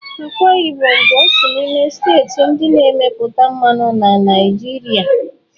Akwa Ibom bụ otu n'ime steeti ndị na-emepụta mmanụ na Naịjirịa.